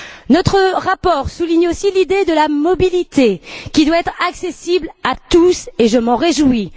Notre rapport souligne aussi l'idée de la mobilité qui doit être accessible à tous et je m'en réjouis.